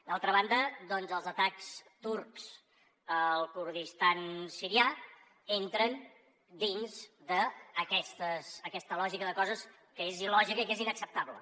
d’altra banda doncs els atacs turcs al kurdistan sirià entren dins d’aquesta lògica de coses que és il·lògica i que és inacceptable